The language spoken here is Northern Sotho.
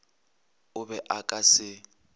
o be o ka se